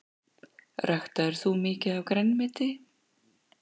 Ræktaðir þú mikið af grænmeti?